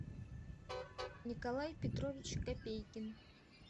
николай петрович копейкин